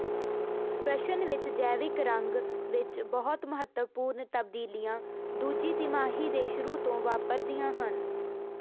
ਪ੍ਰਸ਼ਨ ਵਿੱਚ ਜੈਵਿਕ ਰੰਗ ਵਿੱਚ ਬਹੁਤ ਮਹੱਤਵਪੂਰਨ ਤਬਦੀਲੀਆਂ ਦੂਜੀ ਤਿਮਾਹੀ ਦੇ ਸ਼ੁਰੂ ਤੋਂ ਵਾਪਰਦੀਆਂ ਹਨ